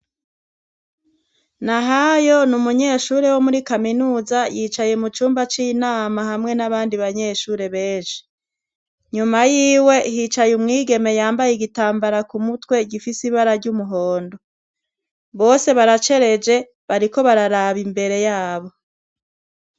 Nahayo n'umunyeshure wo muri kaminuza yicaye mu cumba c'inama hamwe n'abandi banyeshure benshi, inyuma yiwe hicaye umwigeme yambaye igitambara ku mutwe gifise ibara ry'umuhondo, bose baracereje bariko bararaba imbere yabo.